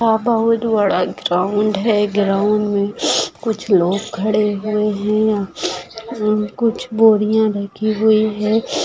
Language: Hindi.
यह बहुत बड़ा ग्राउन्ड है। ग्राउन्ड मे कुछ लोग खड़े हुए है। यहा कुछ बोरिया ढकी हुई है।